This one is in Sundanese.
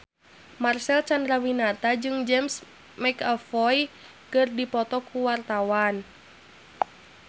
Marcel Chandrawinata jeung James McAvoy keur dipoto ku wartawan